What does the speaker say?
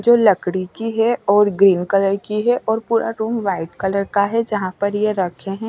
जो लकड़ी की है और ग्रीन कलर की है और पूरा रूम वाइट कलर का है जहां पर ये रखें है।